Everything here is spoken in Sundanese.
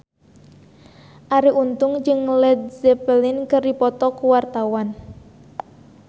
Arie Untung jeung Led Zeppelin keur dipoto ku wartawan